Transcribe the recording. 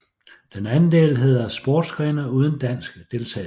Den anden del hedder Sportsgrene uden dansk deltagelse